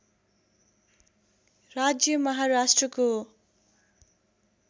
राज्य महाराष्ट्रको